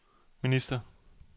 minister